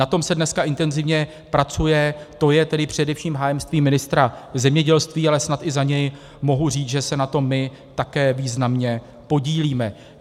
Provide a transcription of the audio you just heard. Na tom se dneska intenzivně pracuje, to je tedy především hájemství ministra zemědělství, ale snad i za něj mohu říct, že se na tom my také významně podílíme.